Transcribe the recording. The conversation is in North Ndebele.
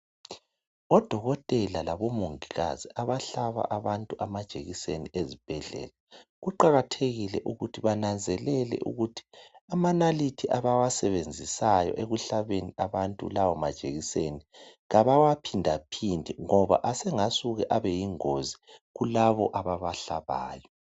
Odokotela labomongikazi abahlaba abantu amajekiseni ezibhedlela kuqakathekile ukuthi bananzelele ukuthi amanaliti abawasebenzisayo ekuhlabeni abantu lawo majekiseni kabawaphindaphindi ngoba asengasuka abe yingozi kulabo ababahlabayo.